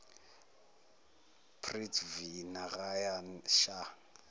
prithvi narayan shah